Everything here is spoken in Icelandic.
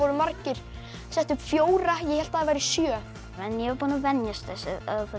margir settu upp fjóra ég hélt þeir væru sjö ég var búin að venjast þessu